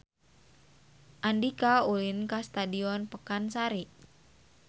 Andika ulin ka Stadion Pakansari